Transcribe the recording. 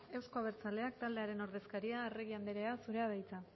euzko abertzaleak taldearen ordezkaria arregi anderea zurea da hitza